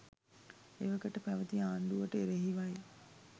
එවකට පැවැති ආණ්ඩුවට එරෙහිවයි.